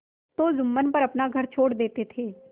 तो जुम्मन पर अपना घर छोड़ देते थे